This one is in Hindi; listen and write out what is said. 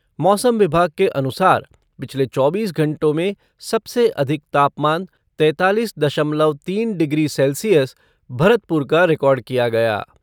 मौसम विभाग के अनुसार पिछले चौबीस घंटों में सबसे अधिक तापमान तेंतालीस दशमलव तीन डिग्री सैल्सियस भरतपुर का रिकॉर्ड किया गया।